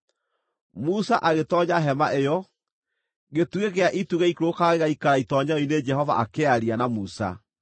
Musa agĩtoonya hema ĩyo, gĩtugĩ gĩa itu gĩaikũrũkaga gĩgaikara itoonyero-inĩ Jehova akĩaria na Musa.